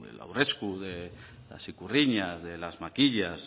del aurresku de las ikurriñas de las makilak